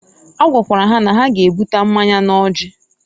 A gwakwara ha na ha g'ebuta mmanya n'ọjị